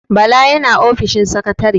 Bala yana ofishin sakatare.